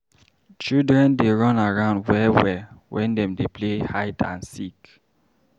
Children dey run around well-well wen dem dey play hide and seek.